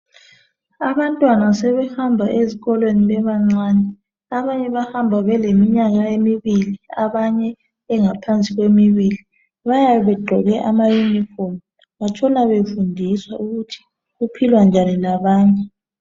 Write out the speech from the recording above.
Abantwana sebehamba ezikolweni bebancane. Abanye bahamba beleminyaka emibili, abanye engaphansi kwemibili .Bayabe begqoke amayunifomu. Batshona befundiswa ukuthi kuphilwa njani labanye.